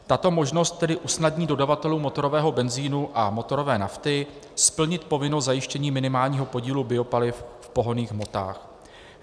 Tato možnost tedy usnadní dodavatelům motorového benzinu a motorové nafty splnit povinnost zajištění minimálního podílu biopaliv v pohonných hmotách.